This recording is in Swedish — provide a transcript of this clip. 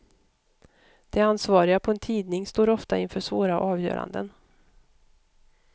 De ansvariga på en tidning står ofta inför svåra avgöranden.